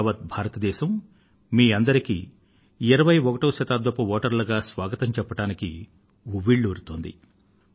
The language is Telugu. యావత్ భారత దేశం మీ అందరికీ 21వ శతాబ్దపు వోటర్లుగా స్వాగతం చెప్పడానికి ఉవ్విళ్ళూరుతోంది